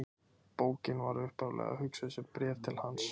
Bókin var upphaflega hugsuð sem bréf til hans.